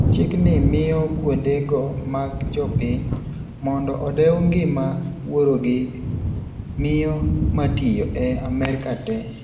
Chik ni miyo kuonde go mag jo piny, "Mondo odew ngima wuoro gi miyo matiyo," e Amerka tee.